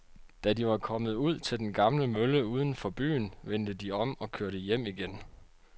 Da de var kommet ud til den gamle mølle uden for byen, vendte de om og kørte hjem igen.